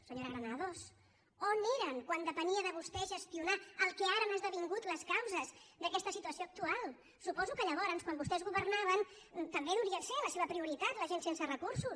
senyora granados on eren quan depenia de vostès gestionar el que ara han esdevingut les causes d’aquesta situació actual suposo que llavors quan vostès governaven també deurien ser la seva prioritat la gent sense recursos